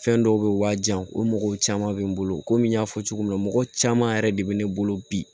Fɛn dɔw bɛ waaji o mɔgɔw caman bɛ n bolo komi y'a fɔ cogo min na mɔgɔ caman yɛrɛ de bɛ ne bolo bi